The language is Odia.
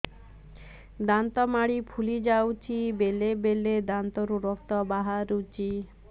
ଦାନ୍ତ ମାଢ଼ି ଫୁଲି ଯାଉଛି ବେଳେବେଳେ ଦାନ୍ତରୁ ରକ୍ତ ବାହାରୁଛି